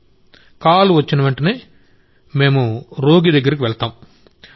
102 నుండి కాల్ వచ్చినవెంటనే మేం రోగి దగ్గరికి వెళ్తాం